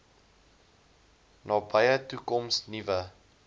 nabye toekoms nuwe